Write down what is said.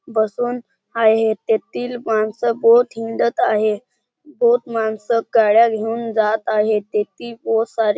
बसून आहेत तेथील माणसं बहोत हिंडत आहे बहोत माणसं गाड्या घेऊन जात आहे तेथी बहोत सारे--